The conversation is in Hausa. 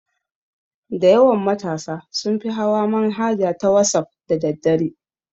Dayawan matasa sunfi hawa manhaja na wasaf da daddare